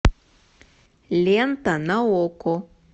лента на окко